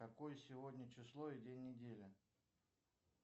какое сегодня число и день недели